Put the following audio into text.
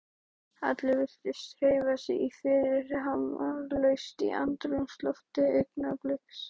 Allir virtust hreyfa sig fyrirhafnarlaust í andrúmslofti augnabliksins.